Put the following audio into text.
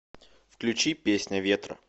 включи песня ветра